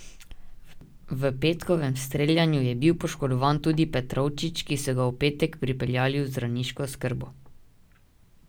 V petkovem streljanju je bil poškodovan tudi Petrovčič, ki so ga v petek pripeljali v zdravniško oskrbo.